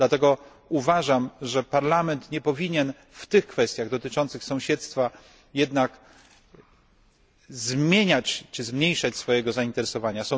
Dlatego uważam, że Parlament nie powinien w tych kwestiach dotyczących sąsiedztwa jednak zmieniać czy zmniejszać swojego zainteresowania.